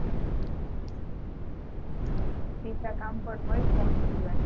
બીજા કામ પન હોય phone સિવાય